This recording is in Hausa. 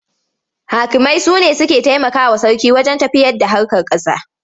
Hakimai su ne suke taimakawa sarki wajen tafiyarda harkar ƙasa.